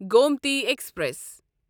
Gomti express